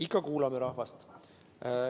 Ikka kuulame rahvast.